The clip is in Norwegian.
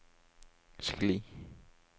skli